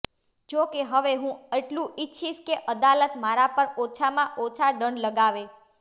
જો કે હવે હું એટલું ઈચ્છીશ કે અદાલત મારા પર ઓછામાં ઓછો દંડ લગાવે